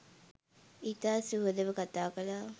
ඉතා සුහදව කථා කළා